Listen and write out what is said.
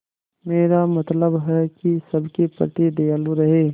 मेरा मतलब है कि सबके प्रति दयालु रहें